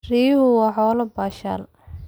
Riyuhu waa xoolo baashaal.